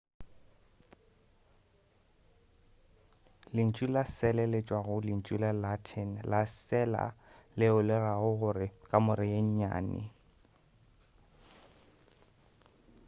lentšu la sele le tšwa go lentšu la latin la cella leo le rago gore kamora ye nnyane